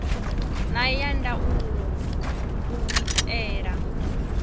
na ya ndaulo u itela